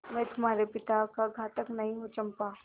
मैं तुम्हारे पिता का घातक नहीं हूँ चंपा